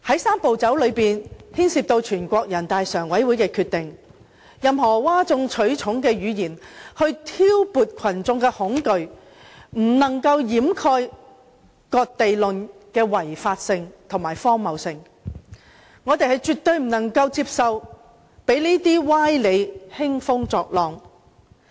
"三步走"牽涉全國人民代表大會常務委員會的決定，任何譁眾取寵的言論想挑撥群眾恐懼，也不能掩蓋"割地論"是違法和荒謬的，我們絕不接受讓這些歪理輕風作浪。